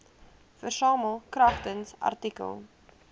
versamel kragtens artikel